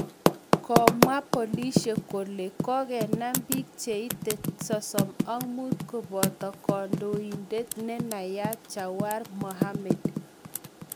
Komwa polisiek kole kogenam pik che ite 35 kopoto kondoindet nenayat Jawar Mohammed